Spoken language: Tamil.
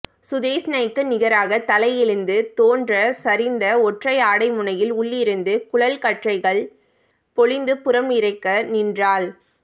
சுதேஷ்ணைக்கு நிகராக தலை எழுந்து தோன்ற சரிந்த ஒற்றைஆடை முனையின் உள்ளிருந்து குழல்கற்றைகள் பொழிந்து புறம் நிறைக்க நின்றாள்